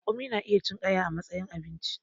Raƙumi na iya cin ƙaya a matsayin abinci